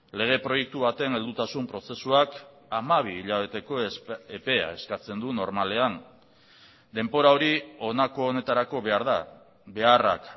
lege proiektu baten heldutasun prozesuak hamabi hilabeteko epea eskatzen du normalean denbora hori honako honetarako behar da beharrak